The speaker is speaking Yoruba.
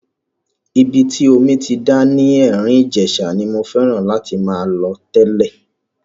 Ibi tí omi ti ń dà ní Erin Ijesa ni mo fẹ́ràn láti máa lọ tẹ́lẹ̀.